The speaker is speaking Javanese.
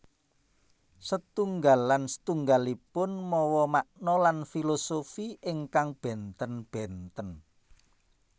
Setunggal lan setunggalanipun mawa makna lan filosofi ingkang bènten bènten